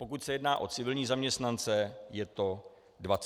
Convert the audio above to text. Pokud se jedná o civilní zaměstnance, je to 24 osob.